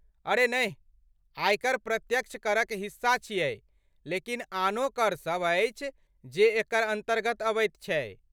अरे नहि, आयकर प्रत्यक्ष करक हिस्सा छियै लेकिन आनो कर सब अछि जे एकर अन्तर्गत अबैत छै।